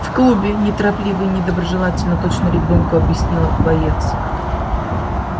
в клубе неторопливо и недоброжелательно точно ребёнку объяснила боец